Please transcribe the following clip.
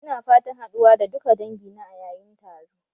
Ina fatan haɗuwa da duka dangina a yayın taro